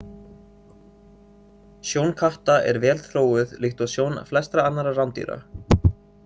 Sjón katta er vel þróuð líkt og sjón flestra annarra rándýra.